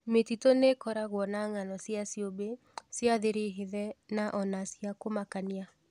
Mĩtitũ nĩĩkoragwo na ngáno cia ciũmbe cia thiri hithe na ona cia kũmakania.